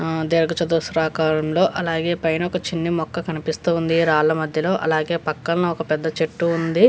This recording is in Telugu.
ఆహ్ దీర్ఘ చతుస్రాకారంలో అలాగే పైన ఒక చిన్ని మొక్క కనిపిస్తూ ఉంది రాళ్ల మధ్యలో అలాగే పక్కన ఒక పెద్ద చెట్టు ఉంది.